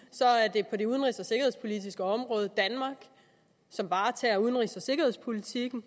det på det udenrigs og sikkerhedspolitiske område danmark der varetager udenrigs og sikkerhedspolitikken